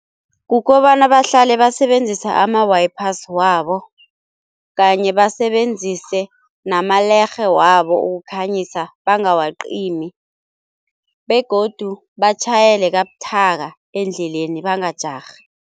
Kukobana bahlale basebenzisa ama-wipers wabo kanye basebenzise namalerhe wabo ukukhanyisa bangawacimi, begodu batjhayele kabuthaka endleleni bangajarhi.